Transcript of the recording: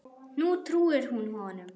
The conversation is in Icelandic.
Nú trúir hún honum.